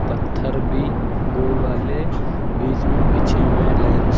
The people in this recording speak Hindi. पत्थर भी गोल वाले बीच में बिछे हुए लाइन स--